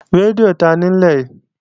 Rédíò tanì í nílẹ̀?